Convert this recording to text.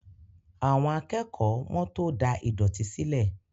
Àwọn akẹ́kọ̀ọ́ wọ́n tó da ìdọ̀tí sílẹ̀